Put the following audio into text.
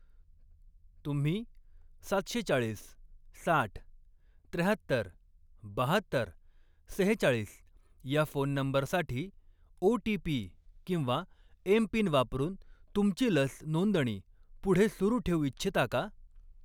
तुम्ही सातशे चाळीस, साठ, त्र्याहत्तर, बाहात्तर, सेहेचाळीस ह्या फोन नंबरसाठी ओ.टी.पी किंवा एम.पिन वापरून तुमची लस नोंदणी पुढे सुरू ठेवू इच्छिता का?